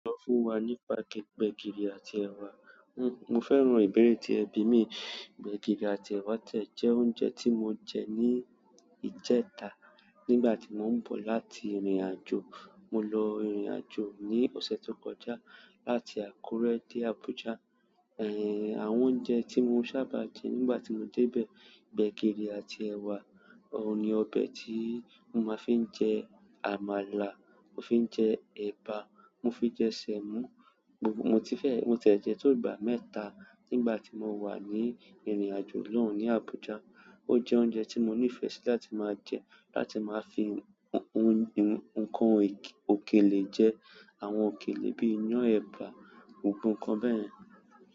Sọ fún wa nípa gbẹ̀gìrì àti ẹwa. Mo fẹ́ràn ìbéèrè tí ẹbí mi. Gbẹ̀gìrì àti ẹ̀wa ti ẹ̀ jẹ́ oúnjẹ tí mo jẹ ní ìjẹta nígbà tí mò ń bọ̀ láti ìrìnàjò. Mo lọ ìrìnàjò ní ọ̀sẹ̀ tó kọjá láti Àkúrẹ́ dé Abuja. Àwọn oúnjẹ tí mo sábà jẹ nígbà tí mo débẹ̀, gbẹ̀gìrì àti ẹ̀wa. Òun ni ọbẹ̀ tí mo máa fi ń jẹ àmàlà mo fi ń jẹ ẹ̀bà, mo fi jẹ sẹ̀mọ́, mo ti fẹ́-- mo ti e jẹ tó ìgbà mẹ́ta nígbà tí mo wà ní ìrìn àjò náà ni Abuja. O jẹ oúnjẹ tí mo nífẹ̀ẹ́ sí láti máa jẹ láti máa fi ǹkan òkèlè jẹ, àwọn òkèlè bí iyán ẹ̀bà, nkankan bẹ́yẹn.